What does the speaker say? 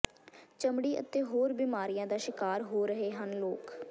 ਚਮੜੀ ਅਤੇ ਹੋਰ ਬੀਮਾਰੀਆਂ ਦਾ ਸ਼ਿਕਾਰ ਹੋ ਰਹੇ ਹਨ ਲੋਕ